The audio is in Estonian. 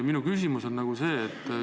Minu küsimus on selline.